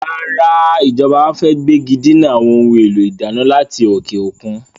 Rárá, Ìjọba fẹ gbégidinà àwọn ohun èlò ìdáná láti òkè òkun.